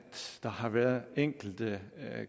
der har været enkelte